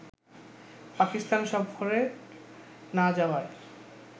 পাকিস্তান সফরের না যাওয়ায়